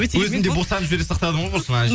өзім де босанып жібере сақтадым ғой құрсын